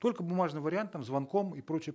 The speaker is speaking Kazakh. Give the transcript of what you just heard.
только бумажным вариантом звонком и прочее